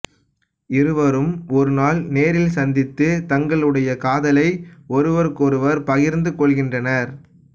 இருவரும் ஒருநாள் நேரில் சந்தித்து தங்களுடைய காதலை ஒருவருக்கொருவர் பகிர்ந்து கொள்கின்றனர்